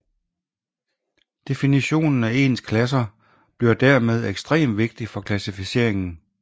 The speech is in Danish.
Definitionen af ens klasser bliver dermed ekstrem vigtig for klassificeringen